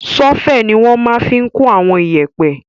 Ṣọ́fẹ̀ ni wọ́n máa fi n kó àwọn iyẹ̀pẹ̀